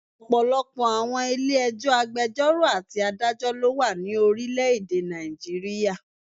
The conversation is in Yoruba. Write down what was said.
Ọ̀pọ̀lọpọ̀ àwọn Ilé ẹjọ́, agbẹjọ́rò àti adájọ́ lo wa ni orílẹ̀ èdè Nàìjíríà